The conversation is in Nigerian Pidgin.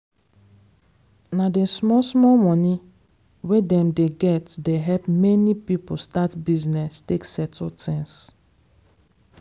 na d small small money wey dem dey get dey help many people start business take settle things.